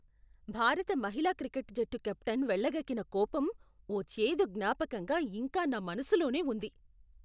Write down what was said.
భారత మహిళా క్రికెట్ జట్టు కెప్టెన్ వెళ్లగక్కిన కోపం ఓ చేదు జ్ఞాపకంగా ఇంకా నా మనసులోనే ఉంది.